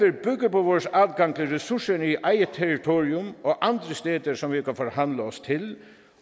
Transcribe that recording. på vores adgang til ressourcerne i eget territorium og andre steder som vi kan forhandle os til